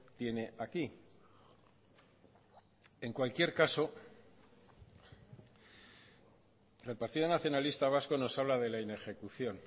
tiene aquí en cualquier caso el partido nacionalista vasco nos habla de la inejecución